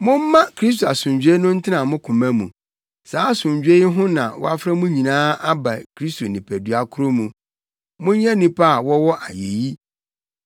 Momma Kristo asomdwoe no ntena mo koma mu. Saa asomdwoe yi ho na wɔafrɛ mo nyinaa aba Kristo nipadua koro mu. Monyɛ nnipa a wɔwɔ ayeyi.